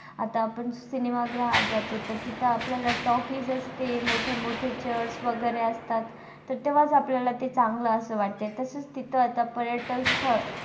आता आपण cinema ग्रहात जातो तर तिथं आपल्याला takies असते मोठेमोठे church वगेरे असतात तर तेव्हाच आपल्याला ते चांगलं असं वाटत तर तसेच तिथं आता पर्यटक स्थळ,